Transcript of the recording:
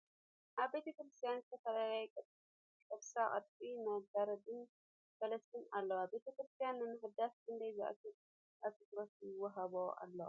ኣብ ቤተ ክርስትያን ዝተፈላለዩ ቅርሳ ቅርሲ ፣ መጋረዲ ን ፈለስትን ኣለዉ ። ቤተ ክርስትያን ንምሕዳስ ክንደይ ዝአክል ኣትኩረት ይወሃቦ ኣሎ ?